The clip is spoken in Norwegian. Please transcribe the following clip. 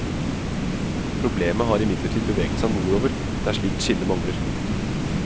Problemet har imidlertid beveget seg nordover, der slikt skille mangler.